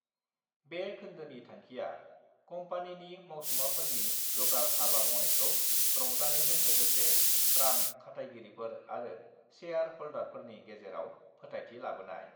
बे खोन्दोनि थांखिया कम्पानिनि मावसुमाफोरनि गोब्राब हाबा मावनायखौ रंजानायजों लोगोसे रां खाथायगिरिफोर आरो सेयार हल्दारफोरनि गेजेराव फोथायथि लाबोनाय।